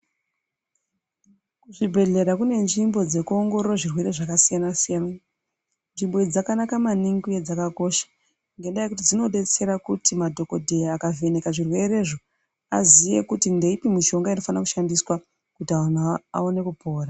Kuzvibhedhlera kune nzvimbo dzekuongorora zvirwere zvakasiyana-siyana. Nzvimbo idzi dzakanaka maningi uye dzakakosha. Ngendaa yekuti dzinodetsera kuti madhogodheya akavheneka zvirwerezvo aziye kuti ndeipi mishonga inofana kushandiswa kuti anhu aone kupora.